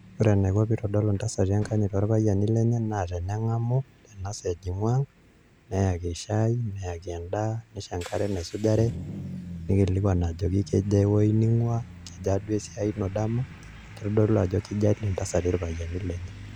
Ore enaiko pee eitodolu enkanyit intasati too payiani lenye naa teneng'amu ena saa ejing'u ang' neeki shai neeki endaa neisho enkare naisujare nekilikuan ajoki kejaa ewuoji ning'uaa kejaa duo esiai ino dama ketodolu ajo keijalie intasati ilpayiani lenye